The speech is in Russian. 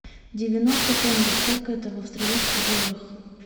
девяносто тенге сколько это в австралийских долларах